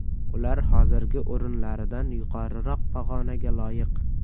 Ular hozirgi o‘rinlaridan yuqoriroq pog‘onaga loyiq.